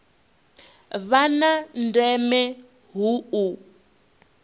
vha na ndeme hu u